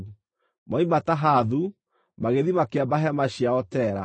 Moima Tahathu, magĩthiĩ makĩamba hema ciao Tera.